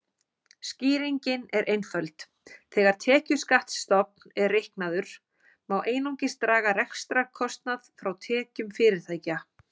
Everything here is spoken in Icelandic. Skýringin er einföld: Þegar tekjuskattsstofn er reiknaður má einungis draga rekstrarkostnað frá tekjum fyrirtækja.